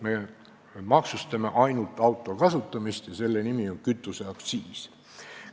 Me maksustame ainult auto kasutamist ja selle nimi on kütuseaktsiis.